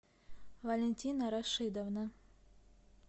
валентина рашидовна